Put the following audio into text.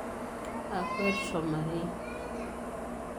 Akwet tomarei